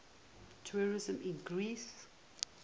tourism in greece